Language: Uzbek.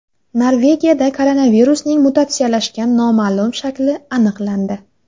Norvegiyada koronavirusning mutatsiyalashgan noma’lum shakli aniqlandi.